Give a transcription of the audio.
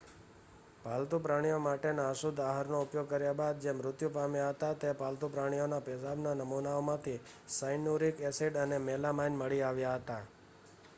પાલતુ પ્રાણીઓ માટેના અશુદ્ધ આહારનો ઉપયોગ કર્યા બાદ જે મૃત્યુ પામ્યા હતા તે પાલતું પ્રાણીઓના પેશાબના નમૂનાઓમાંથી સાયનુરીક એસીડ અને મેલામાઇન મળી આવ્યા હતા